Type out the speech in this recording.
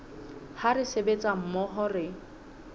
ha re sebetsa mmoho re